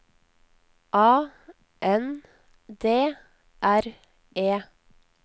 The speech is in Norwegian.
A N D R E